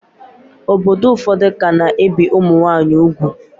Obodo ụfọdụ ka na-ebi ụmụnwaanyị ugwu